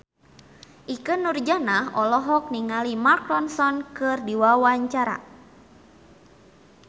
Ikke Nurjanah olohok ningali Mark Ronson keur diwawancara